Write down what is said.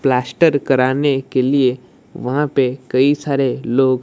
plaster कराने के लिए वहां पे कई सारे लोग--